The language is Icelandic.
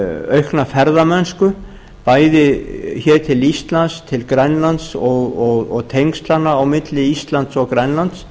aukna ferðamennsku bæði hér til íslands til grænlands og tengslanna á milli íslands og grænlands